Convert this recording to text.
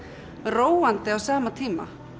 róandi á sama tíma